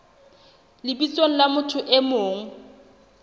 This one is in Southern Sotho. lebitsong la motho e mong